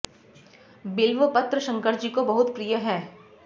बिल्व पत्र शंकर जी को बहुत प्रिय हैं